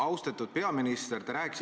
Austatud peaminister!